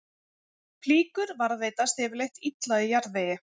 Flíkur varðveitast yfirleitt illa í jarðvegi.